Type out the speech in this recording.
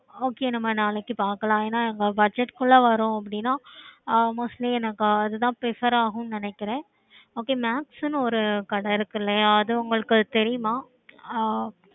okay நம்ம நாளைக்கு பாக்கலாம்